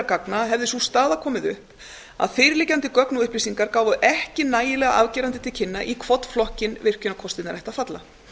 gagna hefði sú staða komið upp að fyrirliggjandi gögn og upplýsingar gáfu ekki nægilega afgerandi til kynna í hvorn flokkinn virkjunarkostirnir ættu að falla